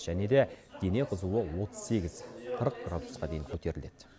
және де дене қызуы отыз сегіз қырық градусқа дейін көтеріледі